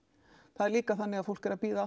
það er líka þannig að fólk er að bíða